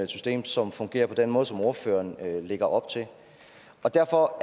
system som fungerer på den måde som ordføreren lægger op til derfor